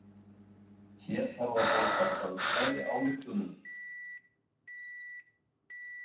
Hér þarf að beita tölfræðiályktunum.